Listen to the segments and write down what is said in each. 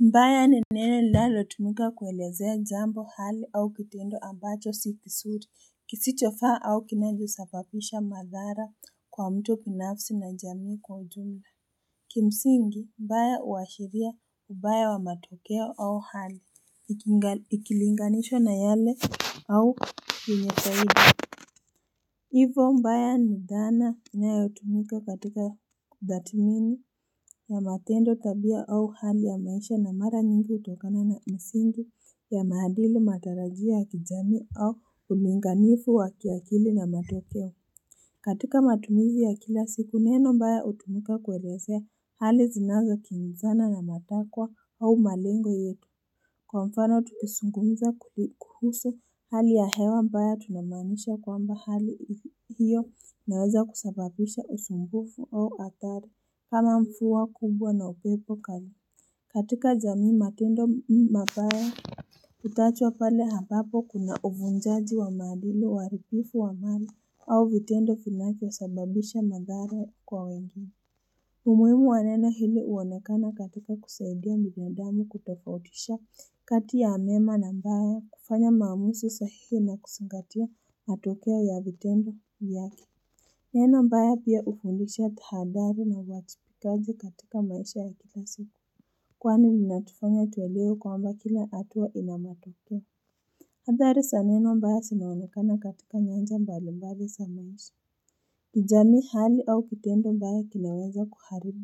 Mbaya ni neno lalotumika kuelezea jambo, hali au kitendo ambacho si kisuri kisichofaa au kinavyosababisha madhara kwa mtu binafsi na jamii kwa ujumla Kimsingi mbaya uwashiria ubaya wa matokeo au hali ikungan ikilinganishwa na yale au yunyefahidi ivo mbaya ni dhana inayotumika katika ndhatimini ya matendo tabia au hali ya maisha na mara nyingi utokana na msingi ya maadili matarajio ya kijamii au ulinganifu wa kiakili na matokeo katika matumizi ya kila siku neno mbaya utumika kuelesea hali zinazo kiingizana na matakwa au malengo yetu kwa mfano tukisungumiza kuhu kuhusu hali ya hewa mbaya tunamaanisha kwamba hali hiyo naweza kusababisha usumbufu au atari kama mfuwa kubwa na upepo kali katika jamii matendo mabaya tutachwa pale hambapo kuna uvunjaji wa maadili uharibifu wa mali au vitendo vinavyosababisha madhara kwa wengine umuimu wa neno hili uonakana katika kusaidia binadamu kutofautisha kati ya mema na mbaya kufanya mamusi sahihi na kusingatia matokeo ya vitendo vyake Neno mbaya pia ufundisha tahadhari na uajibikaji katika maisha ya kila siku Kwani linatufanya tuwelewe kwamba kila atua ina matokeo Adhari saneno mbaya sinaonekana katika nyanja mbalimbali sa maisha kijamii hali au kitendo mbaya kinaweza kuharibu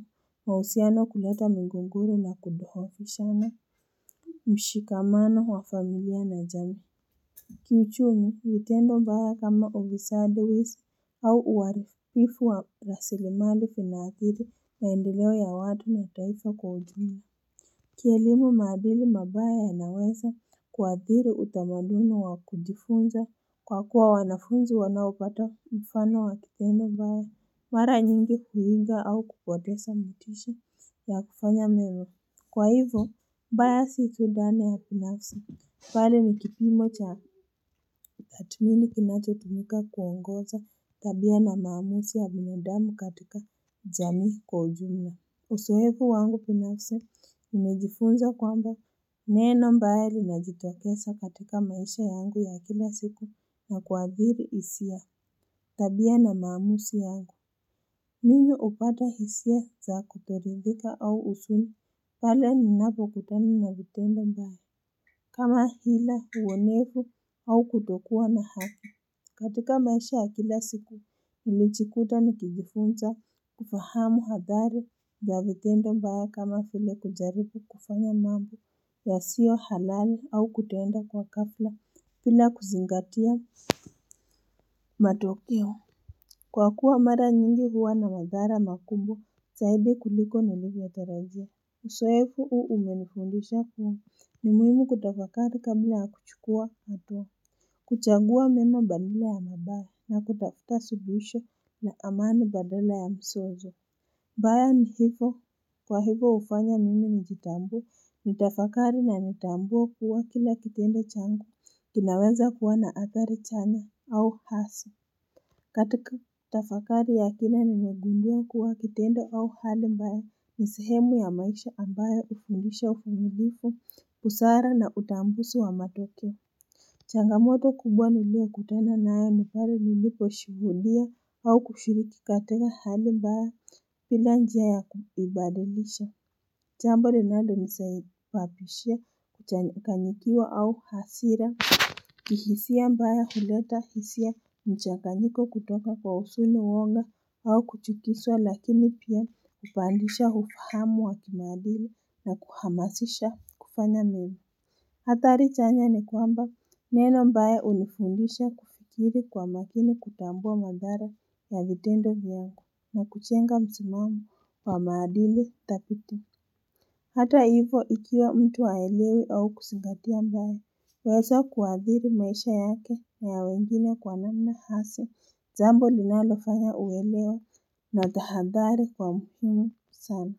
mahusiano kuleta migogoro na kuduhofishana mshikamano wa familia na jamii Kiuchumi vitendo mbaya kama ovisadi wisi au uaribifu wa rasilimali vina adhiri maendeleo ya watu na taifa kwa ujumla kielimu madhili mabaya yanaweza kuadhiri utamaduni wa kujifunza kwa kuwa wanafunzi wanaopata mfano wa kikendo mbaya mara nyingi huiga au kupotesa motisha ya kufanya mema Kwa hivyo, mbaya sikudane ya pinafsi, pale nikipimo cha atmini kinacho tumika kuongoza tabia na maamusi ya binadamu katika jamii kwa ujumla. Usoevu wangu pinafsi, nimejifunza kwamba neno mbaya linajitokeza katika maisha yangu ya kila siku na kuagiri isia tabia na maamusi yangu. Mimu upata hisia za kutoridhika au usuni Bale ni napo kutani na vitendo mbaya kama hila uwonevu au kutokua na hafi katika maisha ya kila siku ulichikuta ni kijifunza kufahamu hadhari ya vikendo mbaya kama file kujaripu kufanya mambo yasiohalali au kutenda kwa kafla pila kuzingatia matokeo Kwakuwa mara nyingi huwa na madhara makubwa zaidi kuliko nilivyo tarajia. Usoefu uu umenifundisha kuwa ni muhimu kutafakari kabila ya kuchukua hatua. Kuchangua mema badala ya mabaya na kutafuta suluhisho na amani badala ya msozo. Baya ni hifo kwa hifo ufanya nini njitambue nitafakari na nitambue kuwa kila kitendo changu. Kinaweza kuwa na athari chaya au hasi. Katika tafakari ya kina ni nemegundua kuwa kitendo au hali mbaya ni sehemu ya maisha ambayo ufundisha ufanyilifu pusara na utambusu wa matokeo changamoto kubwa niliyokutana nayo ni palenilipo shuhudia au kushiriki katenga hali mbaya pila njia ya kuibadlisha Chambo linanisai linalonisaibabishia kuchanganyikiwa au hasira, kihisia mbaya huleta hisia mchanganyiko kutoka kwa usoni wonga au kuchukiswa lakini pia upandisha hufahamu wa kimaadili na kuhamasisha kufanya mimi. Atari chanya ni kwamba neno mbaya unifundisha kufikiri kwa makini kutambua madhara ya vitendo vyangu na kuchenga msimamo wa maadili dhabiti Hata hivo ikiwa mtu haelewi au kusingatia mbaya, wezo kuadhiri maisha yake na ya wengine kwa namna hasa, jambo linalofanya uwelewa na tahadhari kwa mhumu sana.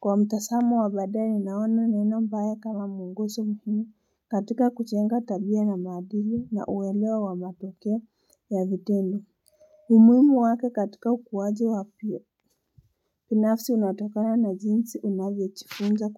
Kwa mtasamo wa badae naona neno mbaya kama muonguso muhumu katika kuchenga tabia na maadili na uwelewa wa matoke ya vitendo Umuimu wake katika ukuwaji wapio, pinafsi unatakana na jinsi unavyochifunza ku.